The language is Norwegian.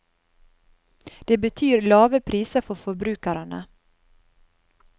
Det betyr lave priser for forbrukerne.